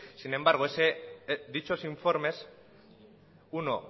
sin embargo dichos informes uno